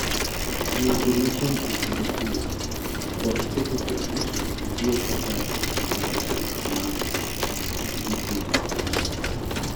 Ngiyo puro machon e kinde purr kod ketho kodhi mtiyo kaka kar dak mag ute e puodho.